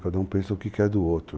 Cada um pensa o que quer do outro.